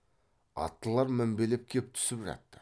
аттылар мінбелеп кеп түсіп жатты